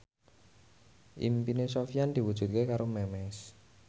impine Sofyan diwujudke karo Memes